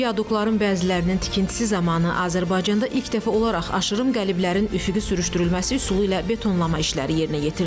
Viadukların bəzilərinin tikintisi zamanı Azərbaycanda ilk dəfə olaraq aşırım qəliblərin üfüqi sürüşdürülməsi üsulu ilə betonlama işləri yerinə yetirilib.